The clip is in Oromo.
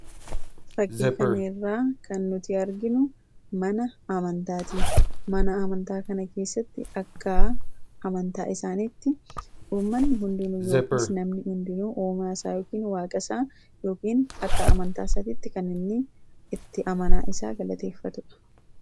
FakKii kana irraa kan arginu mana amantaati. Mana amantaa kan keessatti akka amantaa isaaniitti namni hundinuu uumaa isaa akka amantaa isaatti kan galateeffatudha.